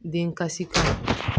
Den kasi kɔnɔ